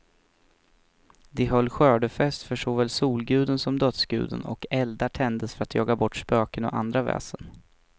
De höll skördefest för såväl solguden som dödsguden, och eldar tändes för att jaga bort spöken och andra väsen.